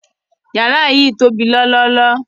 Yàrà yìí tó bí lọ́lọ́lọ́.